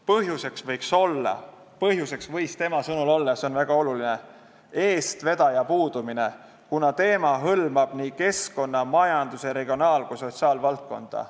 Põhjuseks võis tema sõnul olla – see on väga oluline – eestvedaja puudumine, kuna teema hõlmab keskkonna-, majandus-, regionaal- ja ka sotsiaalvaldkonda.